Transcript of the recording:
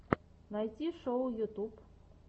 найти шоу ютуб